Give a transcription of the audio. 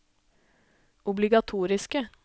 obligatoriske